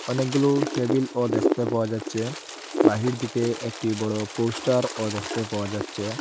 অনেকগুলো টেবিলও দেখতে পাওয়া যাচ্ছে বাহির দিকে একটি বড় পোস্টারও দেখতে পাওয়া যাচ্ছে।